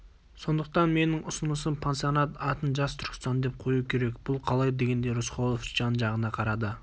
сондықтан менің ұсынысым пансионат атын жас түркістан деп қою керек бұл қалай дегендей рысқұлов жан-жағына қарады